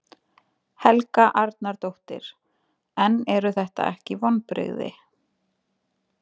Helga Arnardóttir: En eru þetta ekki vonbrigði?